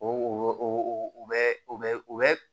O bɛ u bɛ u bɛ